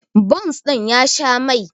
bons ɗin ya Sha Mai